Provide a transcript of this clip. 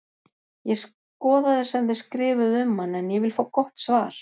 Ég skoðaði sem þið skrifuðuð um hann en ég vil fá gott svar!